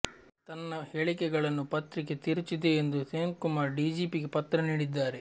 ತನ್ನ ಹೇಳಿಕೆಗಳನ್ನು ಪತ್ರಿಕೆ ತಿರುಚಿದೆ ಎಂದು ಸೇನ್ಕುಮಾರ್ ಡಿಜೆಪಿಗೆ ಪತ್ರ ನೀಡಿದ್ದಾರೆ